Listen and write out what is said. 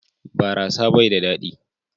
Barasa bai da dadi.